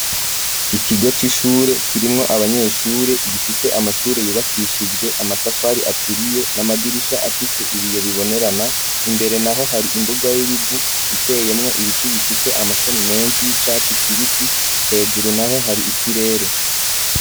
Ikigo c'ishure kirimwo abanyeshure gifise amashure yubakishijwe amatafari aturiye n'amadirisha afise ibiyo bibonerana, imbere naho hari imbuga y'ibivu iteyemwo ibiti bifise amashami menshi y'icatsi kibisi, hejuru naho hari ikirere.